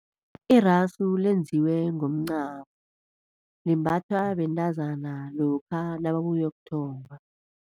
Irasu lenziwe ngomncamo, limbathwa bentazana lokha nababuyokuthomba.